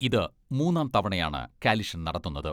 ഇത് മൂന്നാം തവണയാണ് കാലിഷൻ നടത്തുന്നത്.